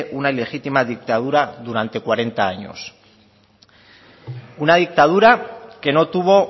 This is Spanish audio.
una ilegitima dictadura durante cuarenta años una dictadura que no tuvo